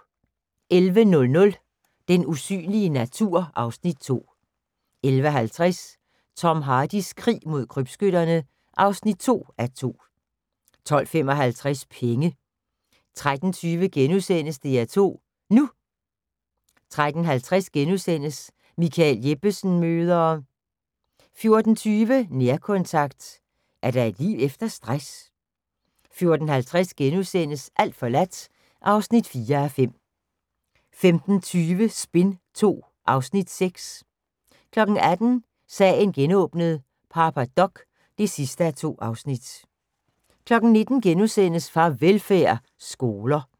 11:00: Den usynlige natur (Afs. 2) 11:50: Tom Hardys krig mod krybskytterne (2:2) 12:55: Penge 13:20: DR2 NU * 13:50: Michael Jeppesen møder ...* 14:20: Nærkontakt – er der et liv efter stress? 14:50: Alt forladt (4:5)* 15:20: Spin II (Afs. 6) 18:00: Sagen genåbnet: Papa Doc (2:2) 19:00: Farvelfærd: Skoler *